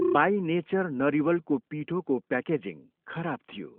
By Nature नरिवलको पिठोको packaging खराब थियो।